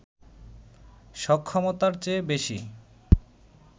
সক্ষমতার চেয়ে বেশি